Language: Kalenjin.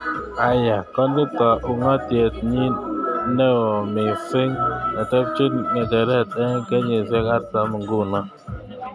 Aya konito ungatiet nyin neo mising netepchen ngecheret eng kenyisiek artam nguno.